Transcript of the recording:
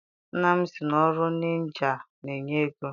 Nna m sị na ọrụ injinịa na-enye ego.